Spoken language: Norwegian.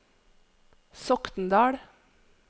Sokndal